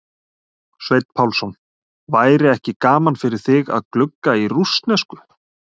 Sveinn Pálsson: væri ekki gaman fyrir þig að glugga í rússnesku?